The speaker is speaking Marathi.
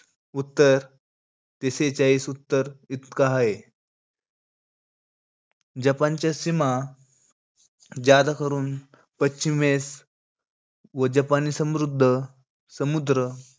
उत्तर, ते सेहेचाळीस उत्तर इतका हाये. जपानच्या सीमा पश्चिमेस व जपानी समृद्ध~ समुद्र,